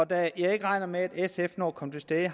da jeg ikke regner med at sf når at komme til stede